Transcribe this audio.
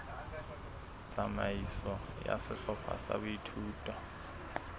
tsamaiso ya sehlopha sa boithuto